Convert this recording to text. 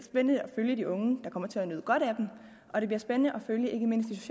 spændende at følge de unge der kommer til at nyde godt af dem og det bliver spændende at følge ikke mindst